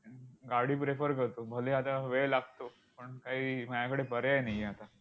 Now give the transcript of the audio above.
गाडी prefer करतो. भले आता वेळ लागतो, पण काही माझ्याकडे पर्याय नाही आहे आता.